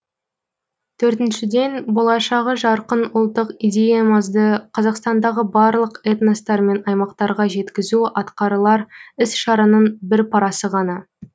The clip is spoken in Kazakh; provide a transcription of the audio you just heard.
төртіншіден болашағы жарқын ұлттық идеямызды қазақстандағы барлық этностар мен аймақтарға жеткізу атқарылар іс шараның бір парасы ғана